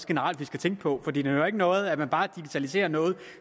generelt skal tænke på for det nytter ikke noget at man bare digitaliserer noget